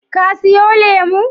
Ka siyo lemu?